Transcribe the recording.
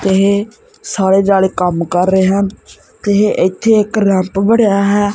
ਇਹ ਸਾਰੇ ਜਾਣੇ ਕੰਮ ਕਰ ਰਹੇ ਹਨ ਤੇ ਇਥੇ ਇਕ ਰੈਪ ਬਣਿਆ ਹੈ।